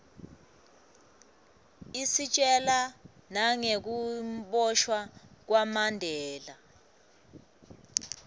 isitjela nagekuboshwa kwamandela